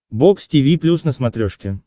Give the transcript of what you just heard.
бокс тиви плюс на смотрешке